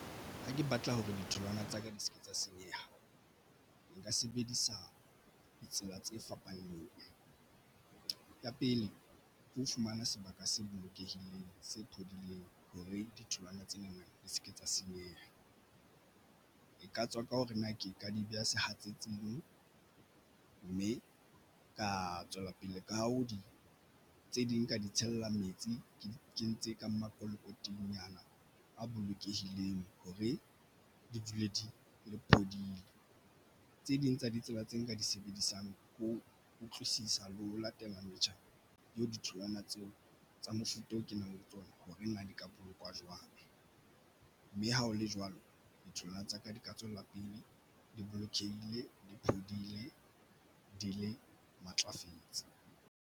Ha ke batla hore ditholwana tsa ka di se ke tsa senyeha nka sebedisa ditsela tse fapaneng ya pele ke ho fumana sebaka se bolokehileng se phodileng hore ditholwana tse neng di se ke tsa senyeha e ka tswa ka hore na ke ka di beha sehatsetsing mme ka tswela pele ka ho di tse ding ka di tshella metsi ke di kentse ka makolokotinyana a bolokehileng hore di dule di phodile tse ding tsa ditsela tse nka di sebedisang ho utlwisisa le ho latela metjha eo ditholwana tseo tsa mofuta o kenang tsona horeng a di ka bolokwa jwang, mme ha ho le jwalo ditholwana tsa ka di ka tswella pele di bolokehile di phodile di matlafetse.